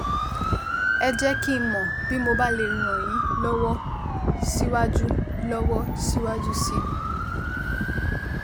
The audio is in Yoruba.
Ẹ jẹ́ kí n mọ̀ bí mo bá lè ràn yín lọ́wọ́ síwájú lọ́wọ́ síwájú sí i